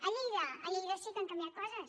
a lleida a lleida sí que han canviat coses